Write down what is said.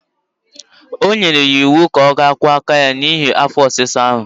O nyere ya iwu ka ọ ga kwọ aka ya n'ihi afọ ọsịsa ahụ.